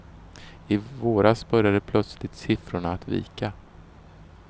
I våras började plötsligt siffrorna att vika.